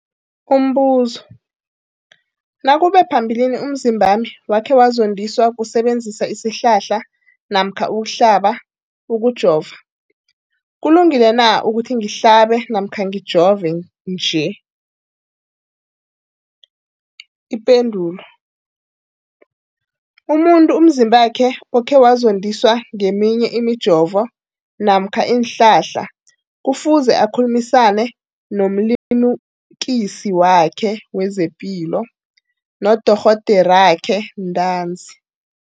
Umbuzo, nakube phambilini umzimbami wakhe wazondiswa kusebenzisa isihlahla namkha ukuhlaba, ukujova, kulungile na ukuthi ngihlabe namkha ngijove nje? Ipendulo, umuntu umzimbakhe okhe wazondiswa ngeminye imijovo namkha iinhlahla kufuze akhulumisane nomlimukisi wakhe wezepilo, nodorhoderakhe ntanzi.